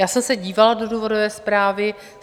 Já jsem se dívala do důvodové zprávy.